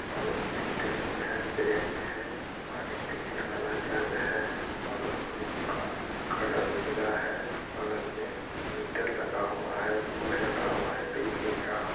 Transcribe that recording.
Room मे table है bench है पानी पीने वाला जग है और रूम का कलर उजला है बगल में मीटर लगा हुआ बोर्ड लगा हुआ है बिजली का।